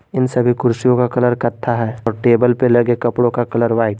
इन सभी कुर्सीयो का कलर कथ्या है और टेबल पे लगे कपडो का कलर वाइट ।